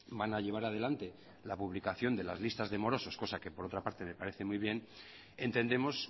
van a llevar adelante la publicación de listas de morosos cosa que por otra parte me parece muy bien entendemos